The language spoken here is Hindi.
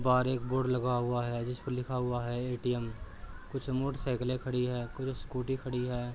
बाहर एक बोर्ड लगा हुआ है। जिसपे लिखा हुआ है एटीएम । कुछ मूड साइकिले खड़ी हैं। कुछ स्कूटी खड़ी हैं।